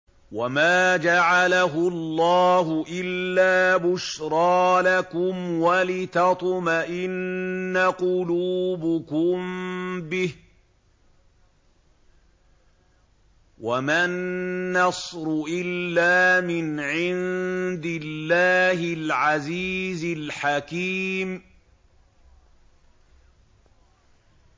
وَمَا جَعَلَهُ اللَّهُ إِلَّا بُشْرَىٰ لَكُمْ وَلِتَطْمَئِنَّ قُلُوبُكُم بِهِ ۗ وَمَا النَّصْرُ إِلَّا مِنْ عِندِ اللَّهِ الْعَزِيزِ الْحَكِيمِ